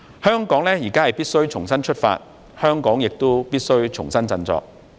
香港現在必須重新出發，香港亦必須重新振作。